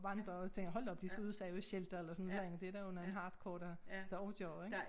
Vandrer og tænker hold da op de skal ud og sove i shelter eller sådan et eller andet det der nogen hadrcore der der også gør ik